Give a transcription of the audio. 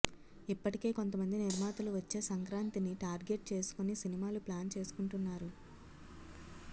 ఇప్పటికే కొంతమంది నిర్మాతలు వచ్చే సంక్రాంతిని టార్గెట్ చేసుకొని సినిమాలు ప్లాన్ చేసుకుంటున్నారు